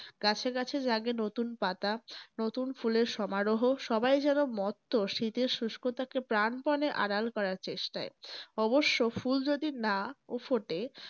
গাছে গাছে জাগে নতুন পাতা নতুন ফুলের সমারোহ সবাই যেন মত্ত শীতের শুষ্কতাকে প্রাণপনে আড়াল করার চেষ্টায়। অবশ্য ফুল যদি নাও ফোটে।